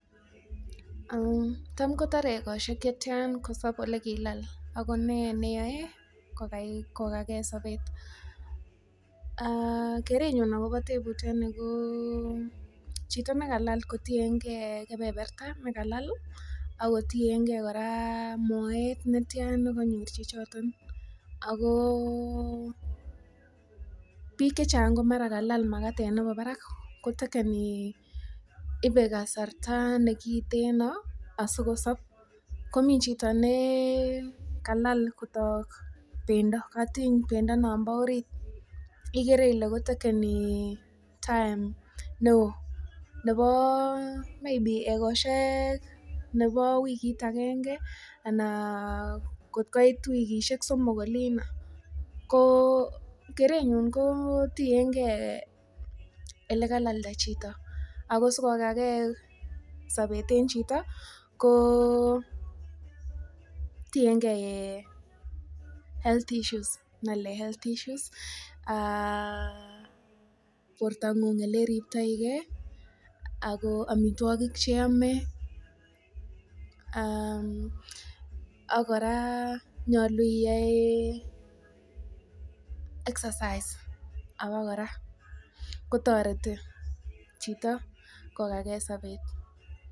taam kotore egosyeek chetian kosob olegilaal, ago nee neyoe kogagee sobeet. um aaah kerenyuun ak kobo tebutyo ni kotiyengee kebeberta negalalh iih ak kotiyengee koraa moeet netyaan neganyoor chichoton agooo biik chechang komara kalaal magateet nebo barak kotekeni, ibe kasarta negiteno asigosoob komii chito nee kalal kotook bendo kotiny bendo nonbo oriit, igeree ile kotekeni time neoo, neboo maybe egosyeek nebo wigiit agenge anan kot koiit wigisyeek somook oliino, kerenyuun koo tiengee olegalalda chito ago asigogagee sobeet en chito koo tiengee health issues nolee health issues, um aaah borto nguung eleribtoii gee, omitwogiik cheome um aaah ak koraa nyolu iyoee exercise abokoraa kotoreti chito kogagee sobeet.